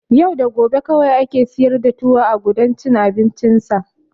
Yau da gobe kawai ake siyar da tuwo a gudan cin abincinsa.